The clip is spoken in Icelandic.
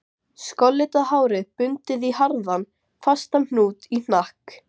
Þar var kominn Jón lærði Guðmundsson, prestvígður maðurinn.